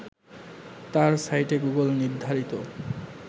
তার সাইটে গুগল নির্ধারিত